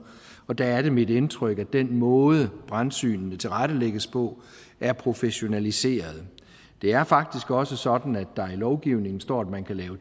og der er det mit indtryk at den måde brandsynene tilrettelægges på er professionaliseret det er faktisk også sådan at der i lovgivningen står at man kan lave